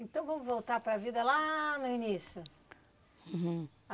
Então vamos voltar para a vida lá no início.